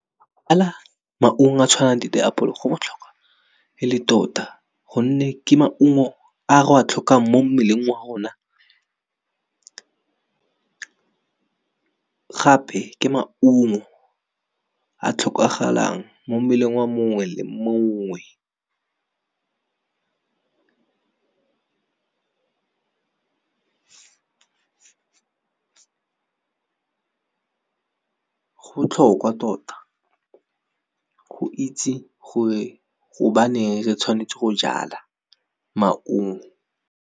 Maungo a tshwanang di apole go botlhokwa e le tota gonne ke maungo a re a tlhokang mo mmeleng wa rona gape ke maungo a tlhokagalang mo mmeleng wa mongwe le mongwe. Go botlhokwa tota, go itse gore gobane re tshwanetse go jala maungo.